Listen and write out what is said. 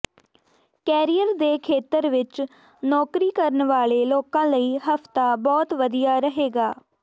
career ਦੇ ਖੇਤਰ ਵਿਚ ਨੌਕਰੀ ਕਰਨ ਵਾਲੇ ਲੋਕਾਂ ਲਈ ਹਫ਼ਤਾ ਬਹੁਤ ਵਧੀਆ ਰਹੇਗਾ